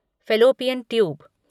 fallopian tube